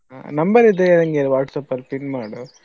Number ಇದೆಯಾ ನಂಗೆ WhatsApp ಅಲ್ಲಿ ping ಮಾಡು.